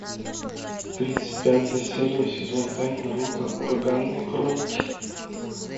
тридцать пятая серия сезон пять наруто ураганные хроники